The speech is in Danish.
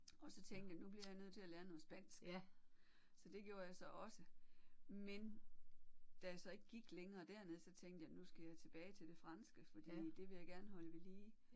Og så tænkte jeg nu bliver jeg nødt til at lære noget spansk så det gjorde jeg så også men da jeg så ikke gik længere dernede så tænkte jeg nu skal jeg tilbage til det franske fordi det vil jeg gerne holde ved lige